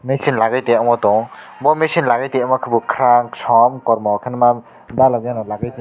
nung se lagai tongo bw meaning dw aobo kakrang song.